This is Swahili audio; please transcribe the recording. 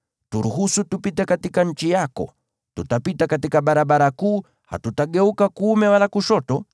“Turuhusu tupite katika nchi yako. Tutapita katika barabara kuu, hatutageuka kuume wala kushoto.